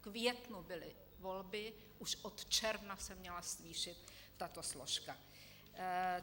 V květnu byly volby, už od června se měla zvýšit tato složka.